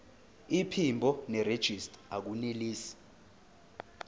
iphimbo nerejista akunelisi